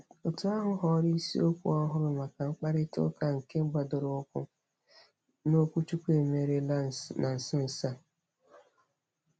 Òtù ahụ họọrọ isiokwu ọhụrụ maka mkparịtaụka nke gbadoroụkwụ n'okwuchukwu e merela na nso nso a.